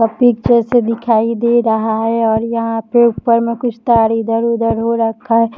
से दिखाई दे रहा है और यहां पे ऊपर में कुछ तार इधर उधर हो रखा --